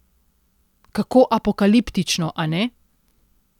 Kako apokaliptično, a ne?